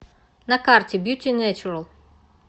на карте бьюти нэйчурал